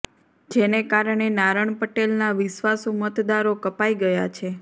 જેને કારણે નારણ પટેલના વિશ્વાસુ મતદારો કપાઈ ગયા છે